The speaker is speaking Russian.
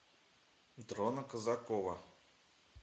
дрона казакова